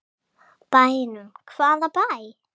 Bænum, hvaða bæ?